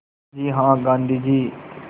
जी हाँ गाँधी जी